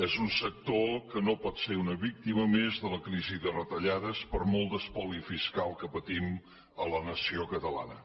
és un sector que no pot ser una víctima més de la crisi de retallades per molt d’espoli fiscal que patim a la nació catalana